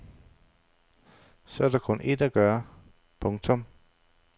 Så er der kun ét at gøre. punktum